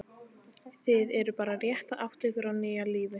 Þið eruð bara rétt að átta ykkur á nýju lífi.